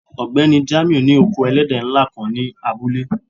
Ọgbẹni Jamiu ni oko èlẹ̀dẹ́ nlá kan ni abúlé